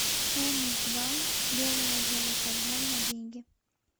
хенус два белое золото взлом на деньги